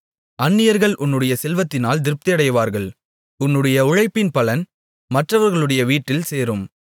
அந்நியர்கள் உன்னுடைய செல்வத்தினால் திருப்தியடைவார்கள் உன்னுடைய உழைப்பின் பலன் மற்றவர்களுடைய வீட்டில் சேரும்